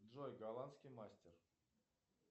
джой голландский мастер